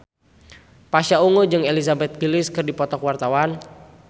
Pasha Ungu jeung Elizabeth Gillies keur dipoto ku wartawan